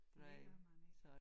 Det gør man ikke